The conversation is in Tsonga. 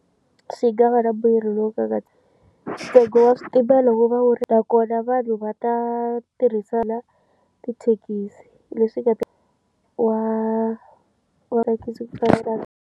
Swi nga va na mbuyelo lowu ka nga ti ntsengo wa xitimela wu va wu ri nakona vanhu va ta tirhisa na tithekisi leswi nga ta wa .